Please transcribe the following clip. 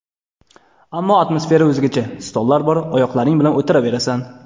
Ammo atmosfera o‘zgacha: stollar bor, oyoqlaring bilan o‘tiraverasan.